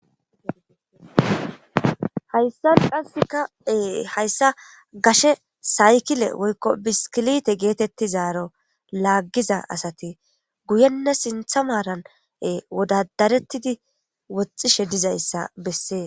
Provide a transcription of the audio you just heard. hayssa qassikae hayssa gashe saykile woykko biskilite geetettizaaro laaggiza asati guyenna sintha maaran wodadarettidi woxxishe dizayssa bessee